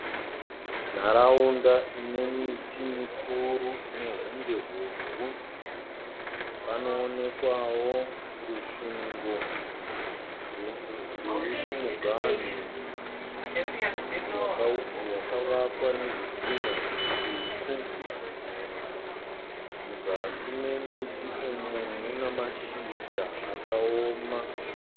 Nharaunda ine miti mikuru ine hunde hobvu. Panoonekwawo rusvingo ruri kumuganhu rwakavakwa nazvidhinha zvitsvuku. Muzasi memiti umu mune mashizha akaoma.